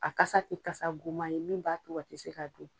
A kasa tɛ kasa goman ye min b'a to a tɛ se ka dun.